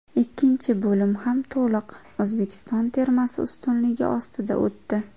Ikkinchi bo‘lim ham to‘liq O‘zbekiston termasi ustunligi ostida o‘tdi.